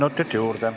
Kolm minutit juurde.